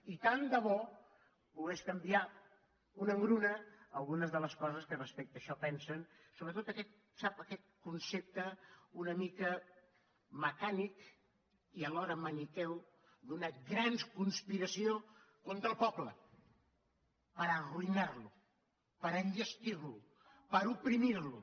i tant de bo pogués canviar una engruna algunes de les coses que respecte a això pensen sobretot sap aquest concepte una mica mecànic i alhora maniqueu d’una gran conspiració contra el poble per arruïnar lo per enllestir lo per oprimir lo